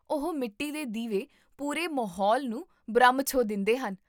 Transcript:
ਉਹ ਮਿੱਟੀ ਦੇ ਦੀਵੇ ਪੂਰੇ ਮਾਹੌਲ ਨੂੰ ਬ੍ਰਹਮ ਛੋਹ ਦਿੰਦੇਹਨ